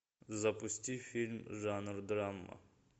запусти фильм жанр драма